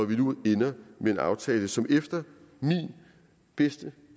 vi nu ender med en aftale som efter min bedste